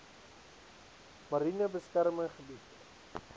mariene beskermde gebied